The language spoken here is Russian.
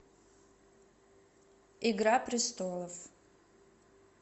игра престолов